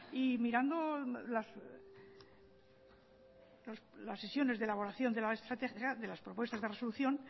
y mirando las sesiones de elaboración de la estrategia de las propuestas de resolución